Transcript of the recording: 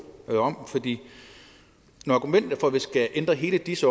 når argumentet for at vi skal ændre hele dis